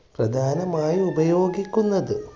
പ്രധാനമായി ഉപയോഗിക്കുന്നത്